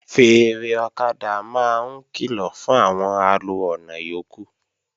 Fèèrè ọ̀kadà máa ń kìlọ̀ fún àwọn alo ọ̀nà yókù